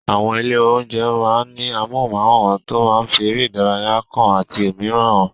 Àwọn ilé-oúnjẹ máa ń ní amóhùnmáwòràn tó máa ń fi eré ìdárayá kan àti òmíràn hàn.